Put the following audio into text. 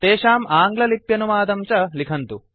तेषाम् आङ्ग्ललिप्यनुवादं च लिखन्तु